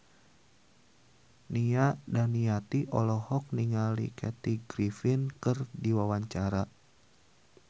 Nia Daniati olohok ningali Kathy Griffin keur diwawancara